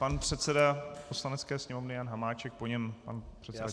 Pan předseda Poslanecké sněmovny Jan Hamáček, po něm pan předseda Černoch.